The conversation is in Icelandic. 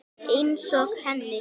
Einsog henni.